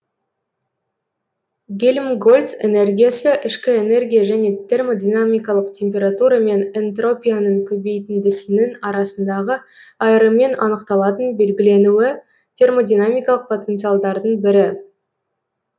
гельмгольц энергиясы ішкі энергия және термодинамикалық температура мен энтропияның көбейтіндісінің арасындағы айырыммен анықталатын белгіленуі термодинамикалық потенциалдардың бірі